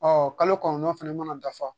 Ɔ kalo kɔnɔntɔn fana mana dafa